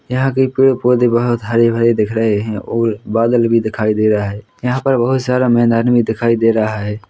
यहाँ के पेड़-पौधे बहोत हरे-भरे दिख रहें हैं और बादल भी दिखाई दे रहा हैं यहाँ पर बहोत सारा मैदान भी दिखाई दे रहा हैं।